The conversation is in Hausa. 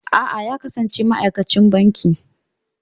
A'a, ya kasance ma'aikacin banki.